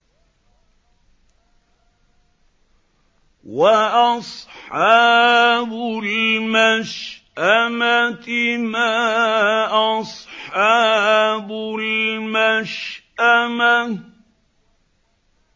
وَأَصْحَابُ الْمَشْأَمَةِ مَا أَصْحَابُ الْمَشْأَمَةِ